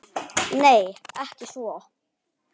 Nei, ekki svo